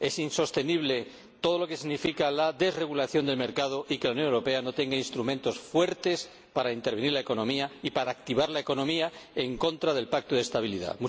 es insostenible todo lo que significa la desregulación del mercado y que la Unión Europea no tenga instrumentos fuertes para intervenir la economía y para activar la economía en contra del Pacto de Estabilidad.